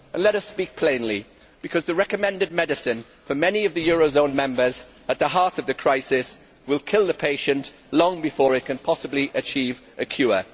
Let us speak plainly, because the recommended medicine for many of the eurozone members at the heart of the crisis will kill the patient long before it can possibly achieve a cure.